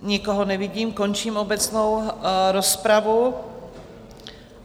Nikoho nevidím, končím obecnou rozpravu.